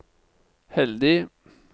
heldig